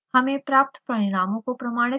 हमें प्राप्त परिणामों को प्रमाणित करना है